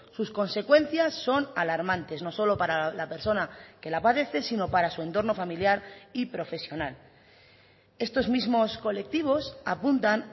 sus consecuencias son alarmantes no solo para la persona que la padece sino para su entorno familiar y profesional estos mismos colectivos apuntan